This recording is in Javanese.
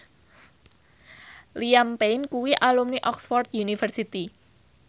Liam Payne kuwi alumni Oxford university